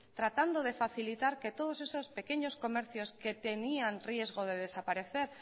tratando de facilitar que todos esos pequeños comercios que tenían riesgo de desaparecer